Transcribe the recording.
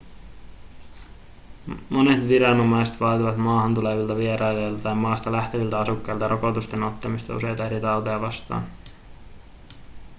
monet viranomaiset vaativat maahan tulevilta vierailijoilta tai maasta lähteviltä asukkailta rokotusten ottamista useita eri tauteja vastaan